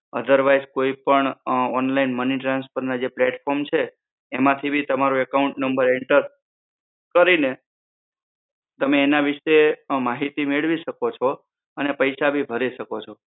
otherwise કોઈ પણ અમ online money transfer ના જે platform છે એમાંથી ભી તમારું account number enter કરીને તમે આ વિશે માહિતી મેળવી શકો છો. અને પૈસા ભી ભરી શકો છો.